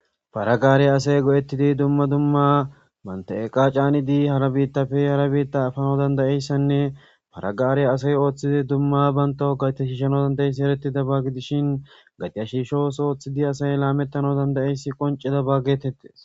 Pare gaare asay go'etidi banta eqa asay caanidi issi bootappe hara biita efanasanne Hare gaare asay oothizaysi eretizaysa gidishin, Gate shiisho ootho oothidi asay laametizaysi eretizaysako.